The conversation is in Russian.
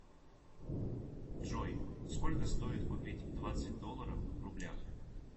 джой сколько стоит купить двадцать долларов в рублях